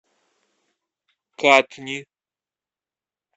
катни